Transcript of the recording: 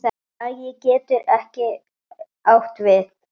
Skagi getur átt við